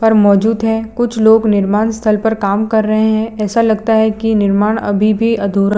और मौजूद है कुछ लोग निमार्ण स्थल पर काम कर रहे है ऐसा लगता है कि निमार्ण अभी भी अधूरा--